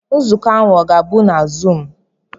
Nzukọ ahụ ọ ga-abụ na zuum?